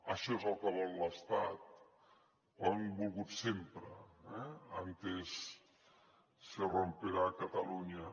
això és el que vol l’estat ho han volgut sempre eh antes se romperá cataluña